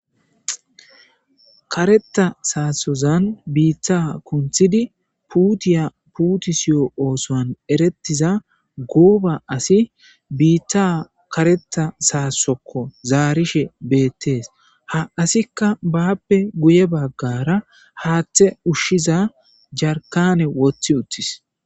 Kareththa saassozan biiththaa kunththidi puuthiya puuthissiyo oosuwan erethiza gooba asi biiththaa kareththa saasso koo zaarishe beeththees; ha assikka baappe guyye baggaara haaththe ushshiza jarkkaane woththi7uththis.